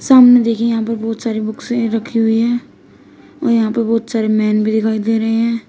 सामने देखिए यहां पर बहोत सारी बुकसे रखी हुई हैं और यहां पे बहुत सारे मेन भी दिखाई दे रहे हैं।